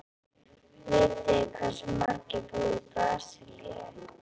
Vitið þið hversu margir búa í Brasilíu?